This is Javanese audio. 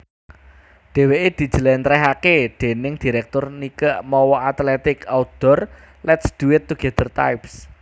Dheweke dijelentrehake déning direktur Nike mawa athletic outdoor lets do it together types